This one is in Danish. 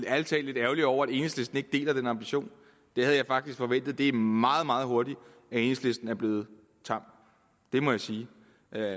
er ærlig talt lidt ærgerlig over at enhedslisten ikke deler den ambition det havde jeg faktisk forventet det er meget meget hurtigt at enhedslisten er blevet tam det må jeg sige